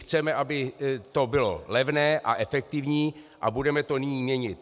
Chceme, aby to bylo levné a efektivní, a budeme to nyní měnit.